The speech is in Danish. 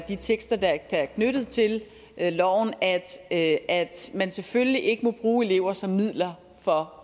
de tekster der er knyttet til loven at at man selvfølgelig ikke må bruge elever som midler for